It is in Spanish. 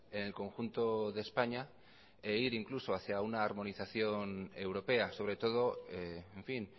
en el conjunto de españa e ir incluso hacia una armonización europea sobre todo en fin